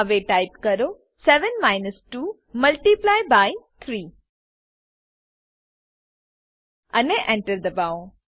હવે ટાઈપ કરો 7 minus 2 multiply by 3 અને Enter દબાવો